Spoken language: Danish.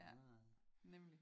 Ja nemlig